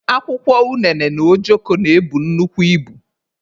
Akwụkwọ unene na ojoko na-ebu nnukwu ibu.